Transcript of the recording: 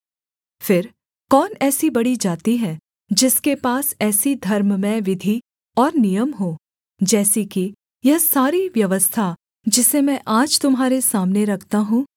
फिर कौन ऐसी बड़ी जाति है जिसके पास ऐसी धर्ममय विधि और नियम हों जैसी कि यह सारी व्यवस्था जिसे मैं आज तुम्हारे सामने रखता हूँ